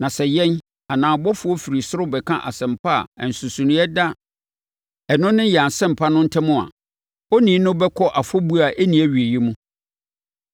Na sɛ yɛn, anaa ɔbɔfoɔ firi ɔsoro bɛka asɛmpa a nsonsonoeɛ da ɛno ne yɛn Asɛmpa no ntam a, onii no bɛkɔ afɔbuo a ɛnni awieeɛ mu.